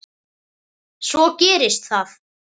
Svo gerist það.